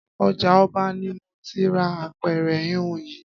Ọjà ọba ni mo ti ra apẹ̀rẹ̀ híhun yìí